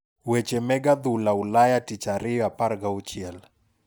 Weche meg adhula Ulaya tich ariyo 16